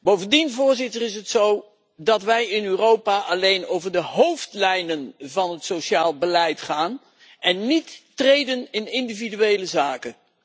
Bovendien is het zo dat wij in Europa alleen over de hoofdlijnen van het sociaal beleid gaan en niet optreden in individuele zaken.